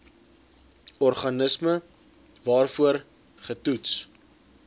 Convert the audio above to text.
organisme waarvoor getoets